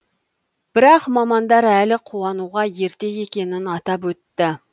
бірақ мамандар әлі қуануға ерте екенін атап өтті